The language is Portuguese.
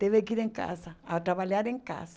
Teve que ir em casa, a trabalhar em casa.